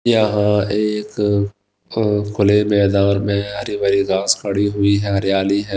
यहां एक अह खुले मैदान में हरी भरी घास खड़ी हुई है हरियाली है।